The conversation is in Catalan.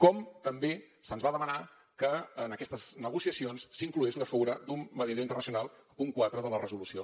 com també se’ns va demanar que en aquestes negociacions s’hi inclogués la figura d’un mediador internacional punt quatre de la resolució